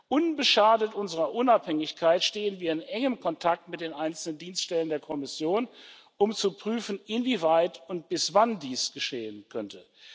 Unbeschadet unserer Unabhängigkeit stehen wir in engem Kontakt mit den einzelnen Dienststellen der Kommission, um zu prüfen, inwieweit und bis wann dies geschehen könnte.